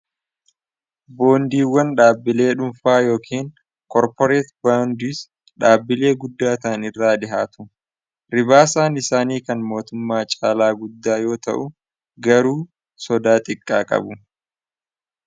boondiiwwan dhaabbilee dhuunfaa yookaan koorporeeti boawundiis dhaabbilee guddaataan irraa dihaatu ribaasaan isaanii kan mootummaa caalaa guddaa yoo ta'u garuu sodaa xiqqaa qabu